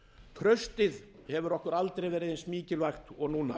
traustið hefur okkur aldrei verið eins mikilvægt og núna